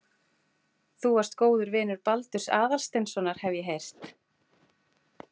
Þú varst góður vinur Baldurs Aðalsteinssonar, hef ég heyrt